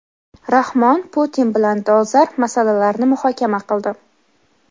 Rahmon Putin bilan dolzarb masalalarni muhokama qildi.